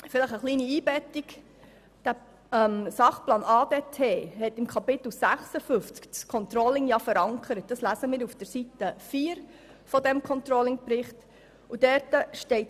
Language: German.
In Kapitel 56 des Sachplans ADT ist das Controlling verankert, das steht auf Seite 4 des Controlling-Berichts.